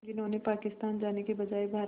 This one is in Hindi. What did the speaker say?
जिन्होंने पाकिस्तान जाने के बजाय भारत